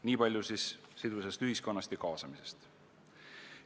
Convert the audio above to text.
Niipalju siis sidusast ühiskonnast ja kaasamisest.